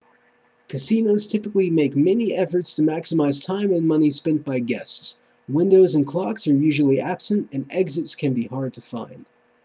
casinos typically make many efforts to maximize time and money spent by guests windows and clocks are usually absent and exits can be hard to find